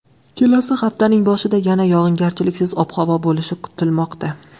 Kelasi haftaning boshida yana yog‘ingarchiliksiz ob-havo bo‘lishi kutilmoqda.